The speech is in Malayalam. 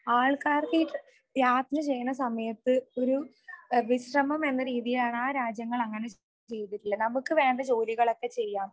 ആൾക്കാർക്കു ഈ യാത്ര ചെയ്യുന്ന സമയത്തു ഒരു വിശ്രമം എന്ന രീതിയാണ് ആ രാജ്യങ്ങൾ അങ്ങനെ ചെയ്തിട്ടുള്ളത്. നമുക്ക് വേണ്ട ജോലികളൊക്കെ ചെയ്യാം.